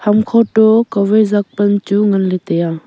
hamkho toh kawai ziak pan chu ngan ley tai a.